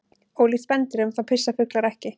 Ólíkt spendýrum þá pissa fuglar ekki.